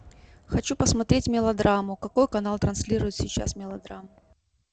хочу посмотреть мелодраму какой канал транслирует сейчас мелодраму